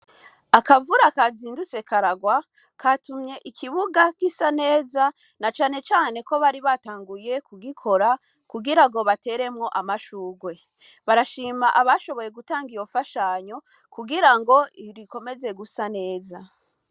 Akavura kazindutse karagwa, katumye ikibuga gisa neza, na cane cane ko bari batanguye kugikora kugira ngo bateremwo amashurwe. Barashima abashoboye gutanga iyo mfashanyo kugira ngo ibi bikomeze gusa neza.